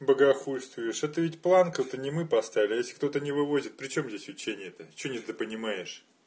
богохульствуешь это ведь планка это не мы поставили а если кто-то не вывозит причём здесь учение это что недопонимаешь